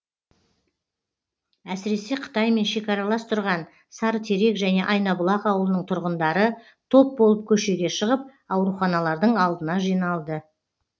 әсіресе қытаймен шекаралас тұрған сарытерек және айнабұлақ ауылының тұрғындары топ болып көшеге шығып ауруханалардың алдына жиналды